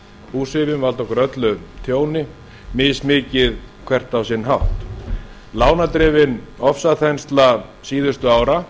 búsifjum valda okkur öllum tjóni mismikið hvert á sinn hátt lánadrifinni ofsaþenslu síðustu ára